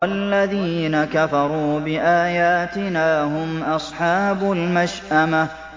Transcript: وَالَّذِينَ كَفَرُوا بِآيَاتِنَا هُمْ أَصْحَابُ الْمَشْأَمَةِ